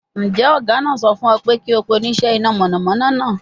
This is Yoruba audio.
Njẹ ọga naa sọ fun ọ pe ki o pe onisẹ ina mọnamọna naa?